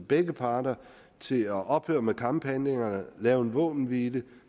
begge parter til at ophøre med kamphandlingerne lave en våbenhvile